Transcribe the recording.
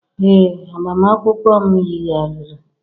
ee, agbamakwụkwọ m yigharịrị.